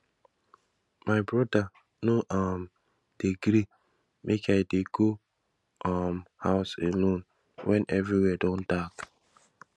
my broda no um dey gree make i dey go um house alone wen everywhere don dark